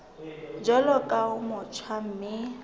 jwalo ka o motjha mme